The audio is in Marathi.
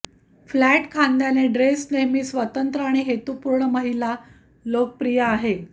फ्लॅट खांद्याने ड्रेस नेहमी स्वतंत्र आणि हेतुपूर्ण महिला लोकप्रिय आहे